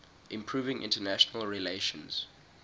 improving international relations